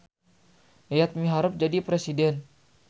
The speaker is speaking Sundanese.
Yayat miharep jadi presiden